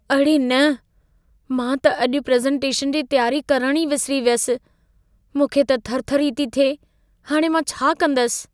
अड़े न! मां त अॼु प्रेज़ेंटेशन जी तियारी करणु ई विसिरी वियुसि। मूंखे त थरथरी थी थिए। हाणे मां छा कंदसि?